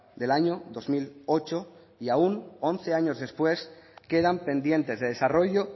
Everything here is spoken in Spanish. del año dos mil ocho y aún once años después quedan pendientes de desarrollo